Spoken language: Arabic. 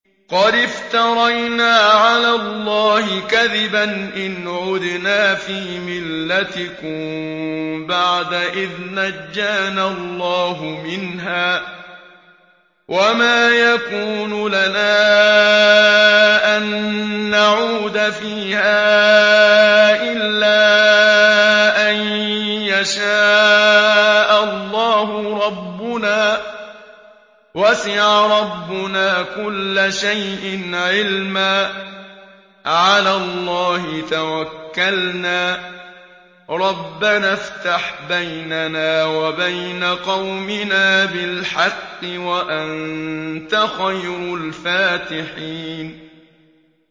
قَدِ افْتَرَيْنَا عَلَى اللَّهِ كَذِبًا إِنْ عُدْنَا فِي مِلَّتِكُم بَعْدَ إِذْ نَجَّانَا اللَّهُ مِنْهَا ۚ وَمَا يَكُونُ لَنَا أَن نَّعُودَ فِيهَا إِلَّا أَن يَشَاءَ اللَّهُ رَبُّنَا ۚ وَسِعَ رَبُّنَا كُلَّ شَيْءٍ عِلْمًا ۚ عَلَى اللَّهِ تَوَكَّلْنَا ۚ رَبَّنَا افْتَحْ بَيْنَنَا وَبَيْنَ قَوْمِنَا بِالْحَقِّ وَأَنتَ خَيْرُ الْفَاتِحِينَ